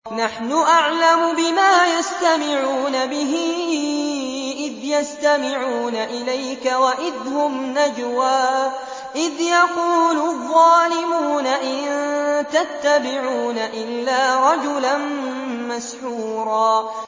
نَّحْنُ أَعْلَمُ بِمَا يَسْتَمِعُونَ بِهِ إِذْ يَسْتَمِعُونَ إِلَيْكَ وَإِذْ هُمْ نَجْوَىٰ إِذْ يَقُولُ الظَّالِمُونَ إِن تَتَّبِعُونَ إِلَّا رَجُلًا مَّسْحُورًا